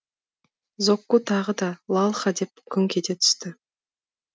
зокку тағы да лалха деп күңк ете түсті